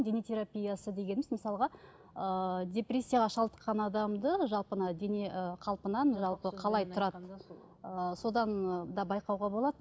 дене терапиясы дегеніміз мысалға ыыы депрессияға шалдыққан адамды жалпы мына дене ы қалпынан жалпы қалай тұрады ы содан ы да байқауға болады